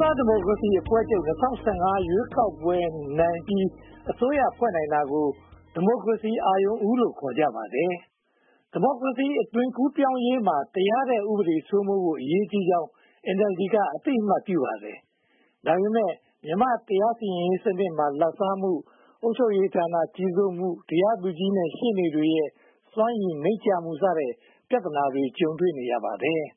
သားဒီမိုကရေစီအဖွဲ့ချုပ် ၂၀၁၅ မှာ ရွေးကောက်ပွဲနိုင်ပြီး အစိုးရဖွဲ့နိုင်တာကို ဒီမိုကရေစီ အာရုဏ်ဦးလို့ ခေါ်ကြပါတယ်။ ဒီမိုကရေစီ အသွင်ကူးပြောင်းရေးမှာ တရားတဲ့ဥပဒေစိုးမိုးဖို့ အရေးကြီးကြောင်း NLD က အသိအမှတ်ပြုပါတယ်။ ဒါပေမဲ့ မြန်မာ့တရားစီရင်ရေးမှာ လာဘ်စားမှု၊ အုပ်ချုပ်ရေးဌာနကြီး ကြီးစိုးမှု၊ တရားသူကြီးနဲ့ ရှေ့နေတွေ စွမ်းရည်နိမ့်ကျမှု စတဲ့ပြဿနာတွေကို ကြုံတွေ့နေရပါတယ်။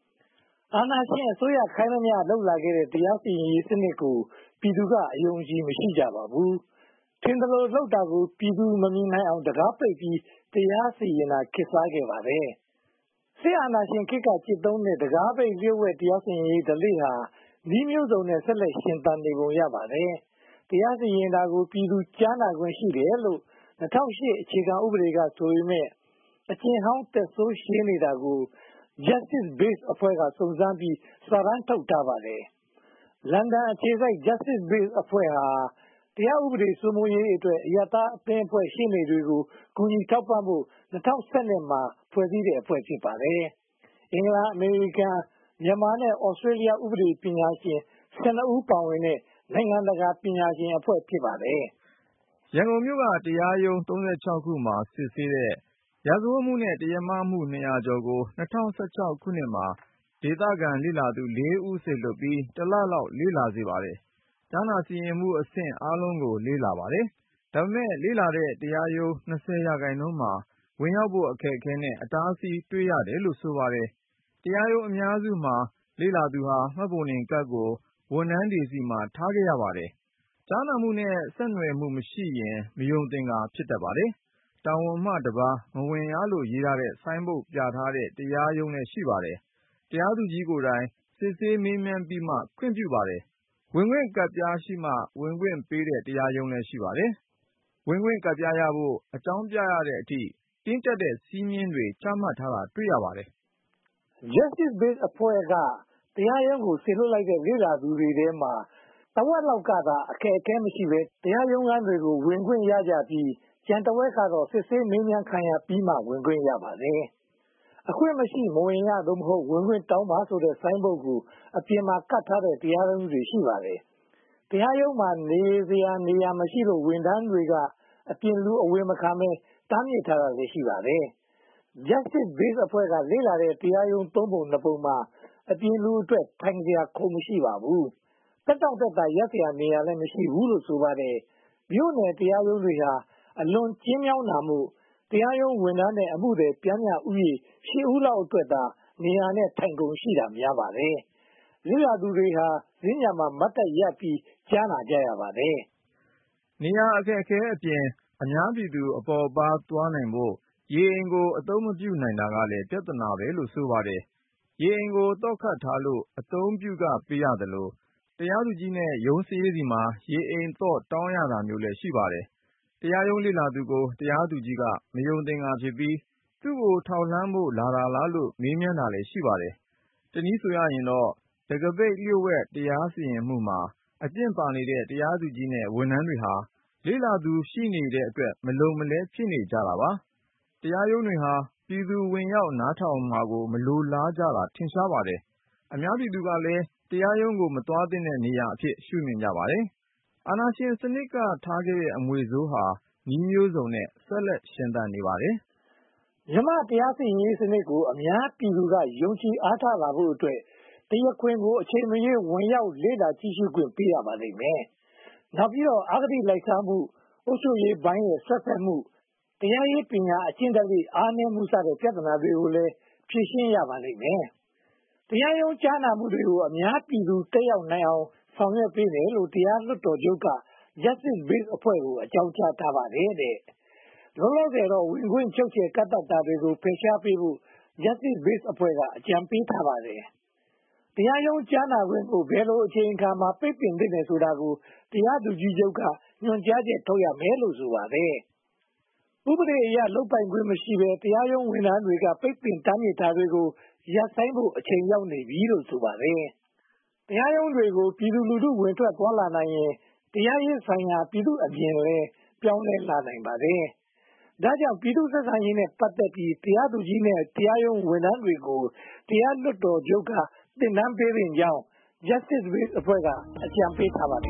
အာဏာရှင်အစိုးရ ခိုင်းသမျှလုပ်လာခဲ့တဲ့ တရားစီရင်ရေးစနစ်ကို ပြည်သူကို အယုံအကြည် မရှိကြပါဘူး။ ထင်သလိုလုပ်တာကို ပြည်သူမမြင်နိုင်အောင် တံခါးပိတ်ပြီး တရားစီရင်တာ ခေတ်စားခဲ့ပါတယ်။ စစ်အာဏာရှင်ခေတ်က ကျင့်သုံးခဲ့တဲ့ တံခါးပိတ်လျှို့ဝှက် တရားစီရင်ရေးဓလေ့ဟာ နည်းမျိုးစုံနဲ့ ဆက်ပြီးရှင်သန်နေပုံရပါတယ်။ တရားစီရင်တာကို ပြည်သူကြားနာခွင့်ရှိတယ်လို့ ၂၀၀၈ အခြေခံဥပဒေက ဆိုပေမယ့် အကျင့်ဟောင်းသက်ဆိုးရှည်နေတာကို Justice Base အဖွဲ့က စုံစမ်းပြီး စာတမ်းထုတ်ထားပါတယ်။ လန်ဒန်အခြေစိုက် Justice Base အဖွဲ့ဟာ တရားဥပဒေစိုးမိုးရေးအတွက် အရပ်သားအသင်းအဖွဲ့နဲ့ ရှေ့နေတွေကို ကူညီထောက်ပံ့ဖို့ ၂၀၁၂ မှာ တည်ထောင်ခဲ့တဲ့အဖွဲ့ ဖြစ်ပါတယ်။ အင်္ဂလန်၊ အမေရိကန်၊ မြန်မာ နဲ့ သြစတေလျ ဥပဒေပညာရှင် (၁၂) ဦး ပါဝင်တဲ့ နိုင်ငံတကာပညာရှင်အဖွဲ့ ဖြစ်ပါတယ်။ ရန်ကုန်မြို့က တရားရုံး (၃၆) ခုမှာ စစ်ဆေးတဲ့ ရာဇဝတ်မှုနဲ့ တရားမှု နှစ်ရာကျော်ကို ၂၀၁၆ မှာ ဒေသခံလေ့လာသူ (၄) ဦး စေလွှတ်ပြီး၊ တစ်လလောက် လေ့လာစေပါတယ်။ ကြားနာစီရင်မှုအဆင့် အားလုံးကို လေ့လာပါတယ်။ ဒါပေမဲ့ လေ့လာတဲ့ တရားရုံး (၂၀) ရာခိုင်နှုန်းမှာ ဝင်ရောက်ဖို့ အခက်အခဲနဲ့ အတားအဆီး တွေ့ရတယ်လို့ ဆိုပါတယ်။ တရားရုံးအများစုမှာ လေ့လာသူဟာ မှတ်ပုံတင်ကဒ်ကို ဝန်ထမ်းတွေဆီမှာ ထားခဲ့ရပါတယ်။ ကြားနာမှုနဲ့ ဆက်နွယ်မှုမရှိရင် မယုံသင်္ကာ ဖြစ်တတ်ပါတယ်။ တာဝန်မှတပါး မဝင်ရလို့ ရေးထားတဲ့ ဆိုင်းဘုတ်ပြထားတဲ့ တရားရုံးလည်း ရှိပါတယ်။ တရားသူကြီးကိုယ်တိုင် စစ်ဆေးမေးမြန်းပြီးမှ ဝင်ခွင့်ပြုပါတယ်။ ဝင်ခွင့်ကဒ်ပြားရှိမှ ဝင်ခွင့်ပေးတဲ့ တရားရုံးလည်း ရှိပါတယ်။ ဝင်ခွင့်ကဒ်ပြားရဖို့ အကြောင်းပြရတဲ့အထိ တင်းကျပ်တဲ့ စည်းမျဉ်းစည်းကမ်းတွေ ချမှတ်ထားတာကိုလည်း တွေ့ရပါတယ်။ Justice Base အဖွဲ့က တရားရုံးကို စေလွှတ်လိုက်တဲ့ လေ့လာသူတွေထဲမှာ တဝက်လောက်သာ အခက်အခဲမရှိဘဲ တရားရုံးခန်းတွေထဲ ဝင်ခွင့်ရကြပြီး ကျန်တဝက်ကတော့ စစ်ဆေးမေးမြန်းခံရပြီးမှ ဝင်ခွင့်ရကြပါတယ်။ “အခွင့်မရှိ မဝင်ရ” သို့မဟုတ် “ဝင်ခွင့်တောင်းပါ” ဆိုတဲ့ ဆိုင်းဘုတ်ကို အပြင်မှာ ကပ်ထားတဲ့ တရားရုံးတွေလည်း ရှိပါတယ်။ တရားရုံးမှာ နေရာမရှိလို့ ဝန်ထမ်းတွေက အပြင်လူအဝင်မခံဘဲ တားမြစ်တာလည်း ရှိပါတယ်။ Jusitce Base က လေ့လာတဲ့တရားရုံး သုံးပုံနှစ်ပုံမှာ အပြင်လူအတွက် ထိုင်စရာ ခုံမရှိပါဘူး။ သက်တောင့်သက်သာ ရပ်စရာနေရာ မရှိဘူးလို့ ဆိုပါတယ်။ မြို့နယ်တရားရုံးဟာ အလွန်ကျဉ်းမြောင်းတာမို့ တရားရုံးဝန်ထမ်းနဲ့ အမှုသည် ပျှမ်းမျှလူဦးရေ (၈) ဦးလောက်အတွက်သာ ထိုင်ခုံနဲ့နေရာ ရှိတာများပါတယ်။ လေ့လာသူတွေဟာ စင်္ကြန်မှာ မတ်တပ်ရပ်ပြီး ကြားနာကြရပါတယ်။ နေရာအခက်အခဲအပြင် အများပြည်သူ အပေါ့အပါးသွားဖို့ ရေအိမ်ကို အသုံးပြုနိုင်တာကလည်း ပြဿနာတခုလို့ ဆိုပါတယ်။ ရေအိမ်ကို သော့ခတ်ထားလို့ အသုံးပြုခပေးရသလို၊ တရားသူကြီးနဲ့ ရုံးစာရေးဆီမှာ ရေအိမ်သော့ တောင်းရတာမျိုးလည်း ရှိပါတယ်။ တရားရုံးလေ့လာသူကို တရားသူကြီးက မယုံသင်္ကာဖြစ်ပြီး သူကို ထောက်လှမ်းဖို့လာတာလားလို့ မေးမြန်းတာလည်း ရှိပါတယ်။ တနည်းဆိုတော့ တံခါးပိတ်လျှို့ဝှက် တရားစီရင်မှုမှာ အကျင့်ပါနေတဲ့ တရားသူကြီးနဲ့ ဝန်ထမ်းတွေဟာ လေ့လာသူ ရှိနေတဲ့အတွက် မလုံမလဲ ဖြစ်နေကြတာပါ။ တရားရုံးတွေဟာ ပြည်သူဝင်ရောက်နားထောင်မှာကို မလိုလားကြတာ ထင်ရှားပါတယ်။ အများပြည်သူကလည်း တရားရုံးကို မသွားသင့်တဲ့နေရာအဖြစ် မြင်ကြပါတယ်။ အာဏာရှင်စနစ်က ထားခဲ့တဲ့ အမွေးဆိုးဟာ နည်းမျိုးစုံနဲ့ ဆက်လက်ရှင်သန်နေပါတယ်။ မြန်မာ့တရားစီရင်ရေးစနစ်ကို အများပြည်သူက ယုံကြည်အားထားလာဖို့အတွက် တရားခွင်ကို အချိန်မရွေး ဝင်ရောက်ကြည့်ရှုခွင့် ပေးရပါလိမ့်မယ်။ နောက်ပြီးတော့ အဂတိလိုက်စားမှု၊ အုပ်ချုပ်ရေးပိုင်းရဲ့ စွက်ဖက်မှု၊ တရားရေးပညာ အလေ့အကျင့်အားနည်းမှု စတဲ့ပြဿနာတွေကိုလည်း ဖြေရှင်းရပါလိမ့်မယ်။ တရားရုံး ကြားနာမှုတွေကို အများပြည်သူ တက်ရောက်လေ့လာနိုင်အောင် ဆောင်ရွက်ပေးမယ်လို့ တရားလွှတ်တော်ချုပ်က Justice Base အဖွဲ့ကို အကြောင်းကြားပါတယ်။ လောလောဆယ်တော့ ဝင်ခွင့်ချုပ်ချယ် ကန့်သတ်တာတွေကို ဖယ်ရှားပေးဖို့ Justice Base အဖွဲ့က အကြံပေးထားပါတယ်။ တရားရုံးကြားနာခွင့်ကို ဘယ်လိုအချိန်အခါမှာ ပိတ်ပင်သင့်တယ်ဆိုတာကို တရားသူကြီးချုပ်က ညွှန်ကြားချက် ထုတ်ရမယ်လို့လည်း ဆိုပါတယ်။ ဥပဒေအရ လုပ်ပိုင်ခွင့်မရှိဘဲ တရားရုံးဝန်ထမ်းတွေက ပိတ်ပင်တားမြစ်နေတာကို ရပ်ဆိုင်းဖို့ အချိန်ရောက်ပြီးလို့ ဆိုပါတယ်။ တရားရုံးတွေကို ပြည်သူလူထု ဝင်ထွက်သွားလာနိုင်ရင် တရားစီရင်ရေးဆိုင်ရာ ပြည်သူ့အမြင်လည်း ပြောင်းလဲလာနိုင်ပါတယ်။ ဒါကြောင့် ပြည်သူ့ဆက်ဆံရေးနဲ့ ပတ်သက်ပြီး တရားသူကြီးနဲ့ တရားရုံးဝန်ထမ်းတွေကို တရားလွှတ်တော်ချုပ်က သင်တန်းပေးသင့်ကြောင်း Justice Base အဖွဲ့က အကြံပေးထားပါတယ်